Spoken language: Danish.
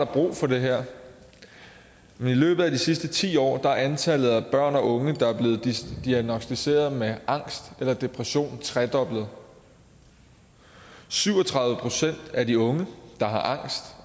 brug for det her i løbet af de sidste ti år er antallet af børn og unge der er blevet diagnosticeret med angst eller depression tredoblet syv og tredive procent af de unge der har angst